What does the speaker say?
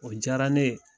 O diyara ne ye